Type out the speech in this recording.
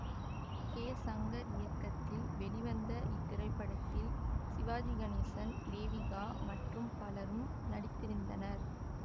K Shankar இயக்கத்தில் வெளிவந்த இத்திரைப்படத்தில் சிவாஜி கணேசன் தேவிகா மற்றும் பலரும் நடித்திருந்தனர்